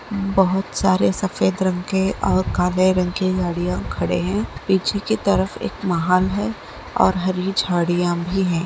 बोहत सारे सफेद रंग के और काले रंग के गाड़ियां खड़े है पीछे के तरफ एक महाल है और हरी झाड़िया भी हैं।